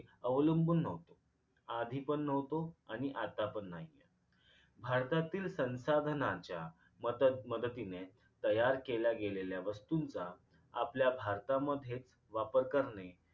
अवलंबून न्हवतो आधीपण न्हवतो आणि आता पण नाही आहे भारतातील संसाधनाच्या मातत मदतीने तयार केल्या गेलेल्या वस्तूंचा आपल्या भारतामध्ये वापर करणे